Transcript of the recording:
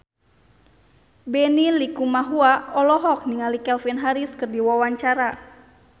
Benny Likumahua olohok ningali Calvin Harris keur diwawancara